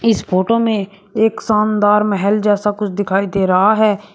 इस फोटो मे एक शानदार महल जैसा कुछ दिखाई दे रहा है।